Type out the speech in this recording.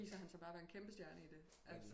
Så viser han sig bare at være en kæmpe stjerne i det altså